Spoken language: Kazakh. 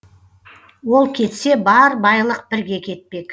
ол кетсе бар байлық бірге кетпек